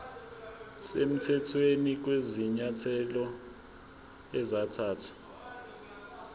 semthethweni kwezinyathelo ezathathwa